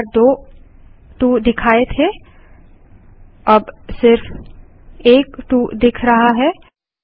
पिछली बार दो 2 दिखाए थे और अब सिर्फ एक 2 दिख रहा है